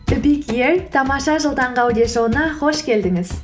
тамаша жыл таңғы аудиошоуына қош келдіңіз